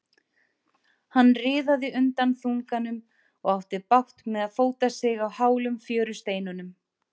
Hann riðaði undan þunganum og átti bágt með að fóta sig á hálum fjörusteinunum.